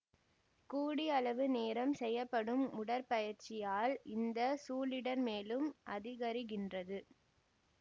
கூடியளவு நேரம் செய்யப்படும் உடற்பயிற்சியால் இந்த சூழிடர் மேலும் அதிகரிக்கின்றது